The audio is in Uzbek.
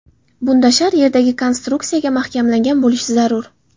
Bunda shar yerdagi konstruksiyaga mahkamlangan bo‘lishi zarur.